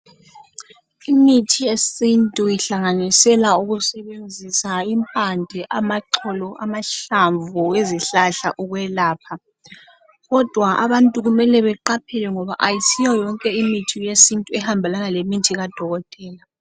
Imithi yesintu ihlanganisela ukusebenzisa imphamde, amaxolo, amahlamvu, izihlahla ukwelapha. Kodwa abantu kumele beqaphele ngoba kayisiyo yonke imithi yesintu ehambelana lemithi kadokotela.